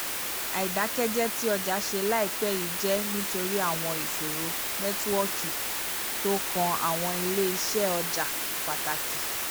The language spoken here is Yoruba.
àìdákẹ́jẹ tí ọjà ṣe laipẹ yìí jẹ́ nítorí àwọn ìṣòro nẹ́tíwọ́ọ̀kì tó kan àwọn ilé iṣẹ́ ọjà pàtàkì